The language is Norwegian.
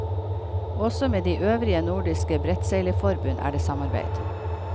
Også med de øvrige nordiske brettseilerforbund er det samarbeid.